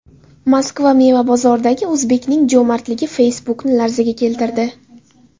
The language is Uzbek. Moskva meva bozoridagi o‘zbekning jo‘mardligi Facebook’ni larzaga keltirdi.